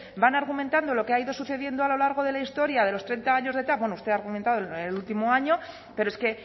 van argumentando lo que ha ido sucediendo a lo largo de la historia de los treinta años del tav bueno usted ha argumentado el último año pero es que